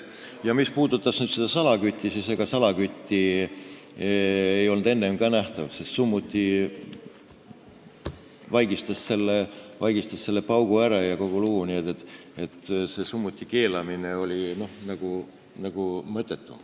Ja mis puudutab salakütte, siis ega salakütt ei olnud enne ka nähtav, sest summuti vaigistas paugu ära ja kogu lugu, nii et see summuti keelamine oli nagu mõttetu.